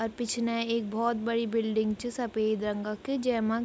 अर पिछने एक भोत बड़ी बिल्डिंग च सपेद रंग क जैमा --